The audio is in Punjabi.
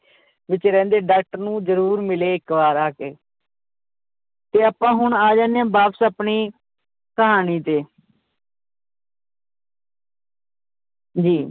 ਵਿਚ ਰਹਿੰਦੇ doctor ਨੂੰ ਜਰੂਰ ਮਿਲੇ ਇੱਕ ਵਾਰ ਆ ਕੇ ਤੇ ਆਪਾਂ ਹੁਣ ਆ ਜਾਂਦੇ ਹਾਂ ਵਾਪਸ ਆਪਣੀ ਕਹਾਣੀ ਤੇ ਜੀ।